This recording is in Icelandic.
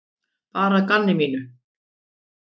Bara að gamni mínu.